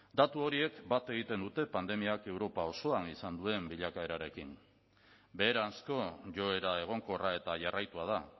datu horiek bat egiten dute pandemiak europa osoan izan duen bilakaerarekin beheranzko joera egonkorra eta jarraitua da